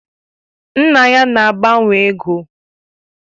Nna ya na agbanwe ego.